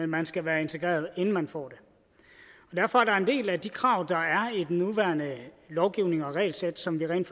man skal være integreret inden man får det derfor er der en del af de krav der er i den nuværende lovgivning og regelsæt som vi rent